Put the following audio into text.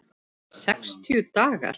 Sextíu dagar?